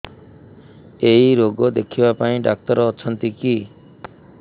ଏଇ ରୋଗ ଦେଖିବା ପାଇଁ ଡ଼ାକ୍ତର ଅଛନ୍ତି କି